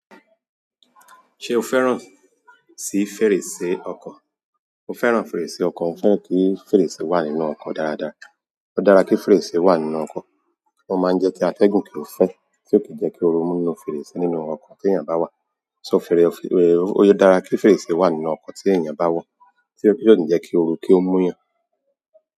Ṣé o fẹ́ràn sí fèrèsé ọkọ̀? Mo fẹ́ràn fèrèsé ọkọ̀. Mo fẹ́ràn kí fèrèsé wà nínú ọkọ̀ dáradára. Ó dára kí fèrèsé wà nínú ọkọ̀, ó máa jẹ́ kí atẹ́gùn kí ó fẹ́, tí ò kì í jẹ́ kí o ru mú 'nú fèrèsé nínú ọkọ̀ tí ènìyàn bá wà. So, fèrè, ó dára kí fèrèsé wà nínú ọkọ̀ tí ènìyàn bá wọ̀, tí ò ní jẹ́ kí o ru kí ó mú yàn.